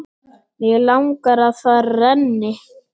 Mig langar að það renni.